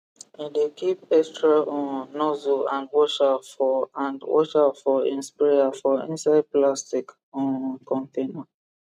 he dey keep extra um nozzle and washer for and washer for him sprayer for inside plastic um container